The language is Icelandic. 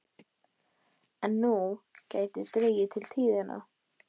En nú gæti dregið til tíðinda.